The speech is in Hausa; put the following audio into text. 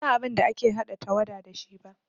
Ban san abin da ake haɗa tawada da shi ba